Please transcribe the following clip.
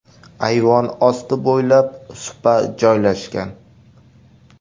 Ayvon osti bo‘ylab supa joylashgan.